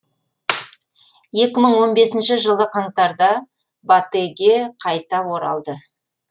жылы қаңтарда батэ ге қайта оралды